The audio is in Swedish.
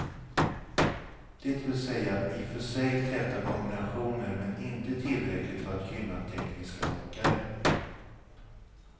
Det vill säga i för sig täta kombinationer men inte tillräckligt för att gynna tekniska åkare.